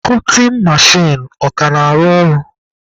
Kọtin mechin ọ ka na-arụ ọrụ?